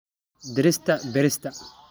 Dhirta beerista.